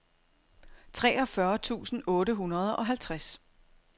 treogfyrre tusind otte hundrede og halvtreds